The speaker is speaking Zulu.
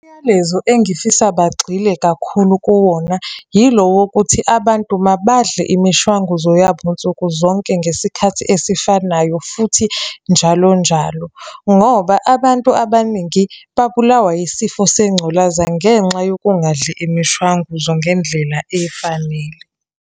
Umyalezo engifisa bagxile kakhulu kuwona, yilo wokuthi abantu mabadle imishwanguzo yabo nsuku zonke ngesikhathi esifanayo, futhi njalonjalo. Ngoba abantu abaningi babulawa yisifo sengculaza ngenxa yokungadli imishwanguzo ngendlela efanele.